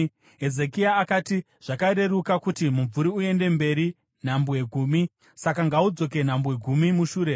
Hezekia akati, “Zvakareruka kuti mumvuri uende mberi nhambwe gumi. Saka ngaudzoke nhambwe gumi mushure.”